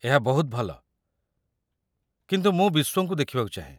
ଏହା ବହୁତ ଭଲ, କିନ୍ତୁ ମୁଁ ବିସ୍ୱଙ୍କୁ ଦେଖିବାକୁ ଚାହେଁ